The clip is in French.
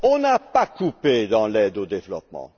On n'a pas coupé dans l'aide au développement.